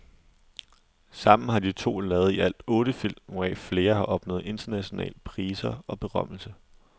Sammen har de to lavet i alt otte film, hvoraf flere har opnået international priser og berømmelse.